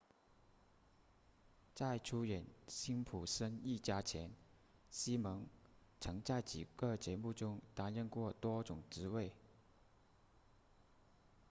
在出演辛普森一家前西蒙曾在几个节目中担任过多种职位